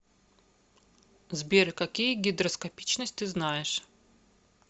сбер какие гидроскопичность ты знаешь